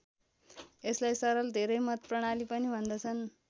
यसलाई सरल धेरै मत प्रणाली पनि भन्दछन्।